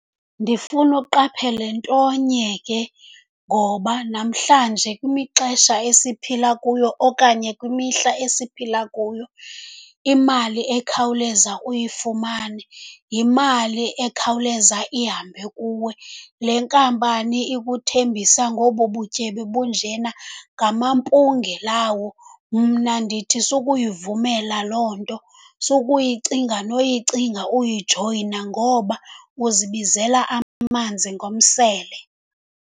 Ndifuna uqaphele ntonye ke, ngoba namhlanje kwimixesha esiphila kuyo okanye kwimihla esiphila kuyo, imali ekhawuleza uyifumane yimali ekhawuleza ihambe kuwe. Le nkampani ikuthembisa ngobu butyebi bunjena ngamampunge lawo. Mna ndithi sukuyivumela loo nto, sukuyicinga noyicinga uyijoyina ngoba uzibizela amanzi ngomsele.